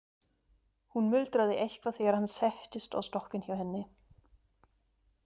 Hún muldraði eitthvað þegar hann settist á stokkinn hjá henni.